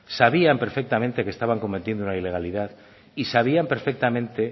sabían perfectamente que estaban cometiendo una ilegalidad y sabían perfectamente